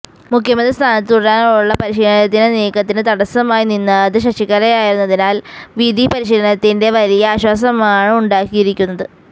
മുഖ്യമന്ത്രി സ്ഥാനത്ത് തുടരാനുള്ള പനീര്ശെല്വത്തിന്റെ നീക്കത്തിന് തടസമായി നിന്നത് ശശികലയായിരുന്നതിനാല് വിധി പനീര്ശെല്വത്തിന് വലിയ ആശ്വാസമാണ് ഉണ്ടാക്കിയിരിക്കുന്നത്